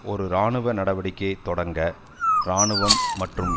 ஒரு இராணுவ நடவடிக்கையை தொடங்க இராணுவம் மற்றும்